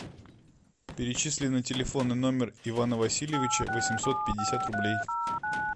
перечисли на телефонный номер ивана васильевича восемьсот пятьдесят рублей